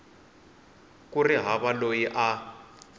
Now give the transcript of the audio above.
ku ri hava loyi a